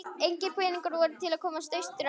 Engir peningar voru til að komast austur aftur.